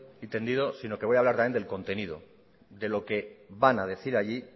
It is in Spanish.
y tendido sino que voy a hablar también con el contenido de lo que van a decir allí